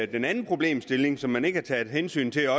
den anden problemstilling som man heller ikke har taget hensyn til er